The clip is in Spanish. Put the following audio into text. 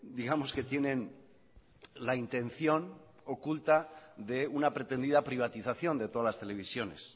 digamos que tienen la intención oculta de una pretendida privatización de todas las televisiones